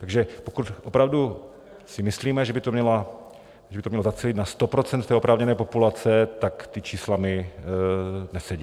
Takže pokud opravdu si myslíme, že by to mělo zacílit na 100 % oprávněné populace, tak ta čísla mi nesedí.